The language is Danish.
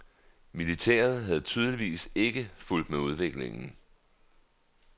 Militæret havde tydeligvis ikke fulgt med udviklingen.